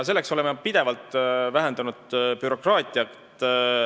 Selleks oleme pidevalt bürokraatiat vähendanud.